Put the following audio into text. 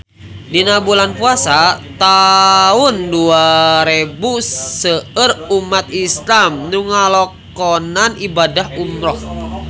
Dina bulan Puasa taun dua rebu seueur umat islam nu ngalakonan ibadah umrah